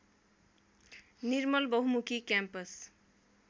Nirmal Bahumukhi campus